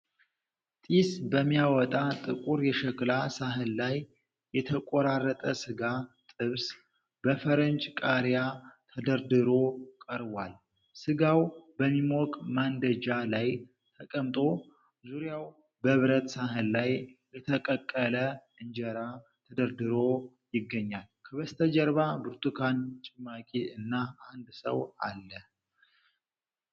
ጢስ በሚያወጣ ጥቁር የሸክላ ሳህን ላይ የተቆራረጠ ሥጋ (ጥብስ/ትብስ) በፈረንጅ ቃሪያ ተደርድሮ ቀርቧል። ሥጋው በሚሞቅ ማንደጃ ላይ ተቀምጦ ዙሪያው በብረት ሣህን ላይ የተጠቀለለ እንጀራ ተደርድሮ ይገኛል። ከበስተጀርባ ብርቱካን ጭማቂ እና አንድ ሰው አለ።